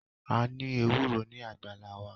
A ní ewúro ní àgbàlá wa